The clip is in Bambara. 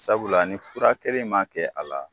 Sabula ni fura keren in ma kɛ a la